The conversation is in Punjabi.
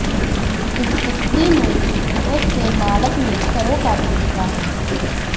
ਇਸ ਕੁੱਤੀ ਨੂੰ ਉਸਦੇ ਮਾਲਕ ਨੇ ਘਰੋਂ ਕੱਢ ਦਿੱਤਾ ਹੈ